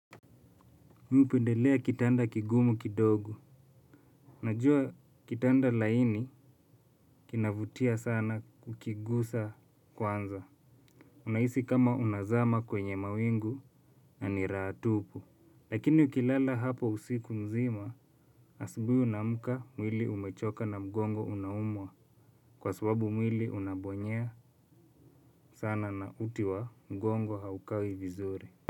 Mi hupendelea kitanda kigumu kidogo. Najua kitanda laini kinavutia sana kukigusa kwanza. Unaisi kama unazama kwenye mawingu na ni raha tupu. Lakini ukilala hapo usiku nzima asubuhj unaamka mwili umechoka na mgongo unaumwa kwa sababu mwili unabonyea sana na uti wa mgongo haukai vizuri.